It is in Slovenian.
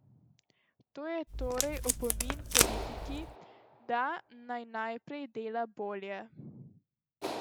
To je torej opomin politiki, da naj naprej dela bolje.